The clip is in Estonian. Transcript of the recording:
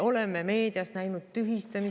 Oleme meediast näinud tühistamisi.